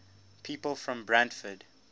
people from brantford